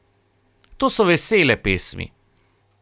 To so vesele pesmi.